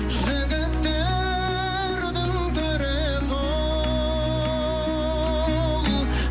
жігіттердің төресі ол